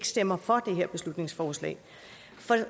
stemme for det her beslutningsforslag